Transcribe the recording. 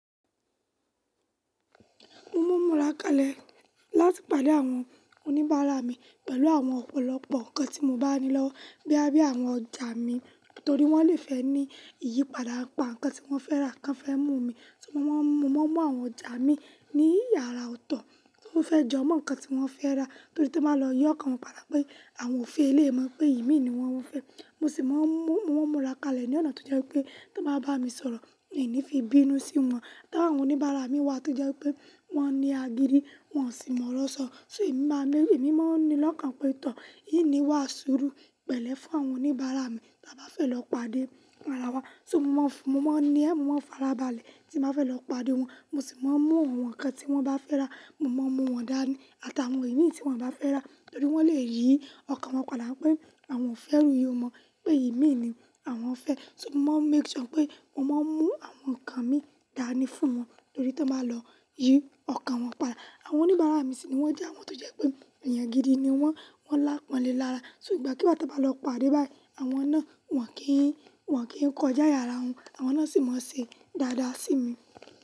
Mo máa ń múra kalẹ̀ láti pàdé àwọn oníbàárà mi pẹ̀lú àwọn ọ̀pọ̀lọpọ̀ nǹkan tí mo bá ní lọ́wọ́ boya bi àwọn ọjà mi torí wọ́n lè fẹ́ ní ìyípadà n pa nǹkan tí wọ́n fẹ́ rà kan fẹ́ mú mi, ṣùgbọ́n mo máa ń mú àwọn ọjà mi ní yàrá ọ̀tọ̀ t'o fẹ́ jo mọ́ nǹkan tí wọ́n fẹ́ rà torí tí máa lọ yi ọ́kàn wọ́n padà pé àwọn ò fẹ́ eléyi mọ̀ pé imi ni wọ́n fẹ́. Mo sì máa ń múra kalẹ̀ ní ọ̀nà tó jẹ́ wipé tí wọ́n bá bá mi sọ̀rọ̀, mii ni fi bínú sí wọn. Tí àwọn oníbàárà mi wà tó jẹ́ wipé wọ́n ní agidi, wọ́n sì mọ̀ oro sọ́, ṣé èmi máa lé èmi máa ń ní lọ́kàn pé tọ́ n niwà sùúru pẹ̀lẹ́ fún àwọn oníbàárà mi bí bá fẹ́ lọ pàdé ara wa. So mo máa ń fùn, mo máa ń ní, mo máa ń fara balẹ̀ tí n bá fẹ́ lọ pàdé wọn. Mo sì máa ń mú àwọn nǹkan tí wọ́n bá fẹ́ rà, mo máa ń mú wọn dání àtàwọn imí tí wọ́n bá fẹ́ rà torí wọ́n lè yí ọkàn wọn padà pé àwọn ò fẹ́ iru iyun mọ pé imi ni àwọn fẹ́. So mo máa ń make sure pé mo máa ń mú àwọn nǹkan mi dání fún wọn torí tan bá lọ yí ọkàn wọn padà. Àwọn oníbàárà mi sì ni wọ́n jẹ́ àwọn tó jẹ́ pé ènìyàn gidi ni wọ́n, wọ́n lápọ̀nlẹ́ lára. Ṣùgbọ́n kíwo tan bá lọ pàdé báyìí àwọn náà wọ́n kì í, wọ́n kì í kọjá aaye àrá wọn, àwọn náà sì mọ ṣe dáadáa sí mi.